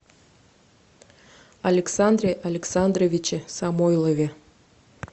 александре александровиче самойлове